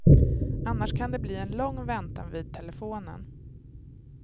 Annars kan det bli en lång väntan vid telefonen.